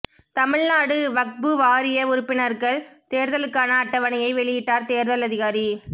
தமிழ்நாடு வக்பு வாரிய உறுப்பினர்கள் தேர்தலுக்கான அட்டவணையை வெளியிட்டார் தேர்தல் அதிகாரி